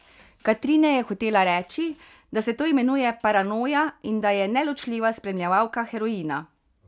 Katrine je hotela reči, da se to imenuje paranoja in da je neločljiva spremljevalka heroina.